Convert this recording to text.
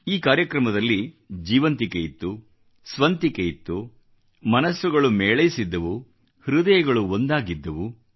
ಈ ಕಾರ್ಯಕ್ರಮದಲ್ಲಿ ಜೀವಂತಿಕೆ ಇತ್ತು ಸ್ವಂತಿಕೆ ಇತ್ತು ಮನಸ್ಸುಗಳು ಮೇಳೈಸಿದ್ದವು ಹೃದಯಗಳು ಒಂದಾಗಿದ್ದವು